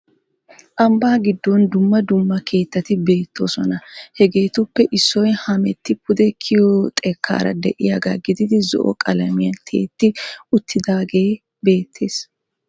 Ambbaa giddon dumma dumma keettati beettoosona . Hegeetuppe issoy hametti pude kiyiyo xekkara de'iyagaa gididi zo"o qalamiyan tiyetti uttidaagee beettees.